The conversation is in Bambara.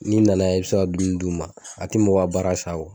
N'i nana yan i bɛ se ka dumuni d'u ma a tɛ mɔgɔ baara sa o.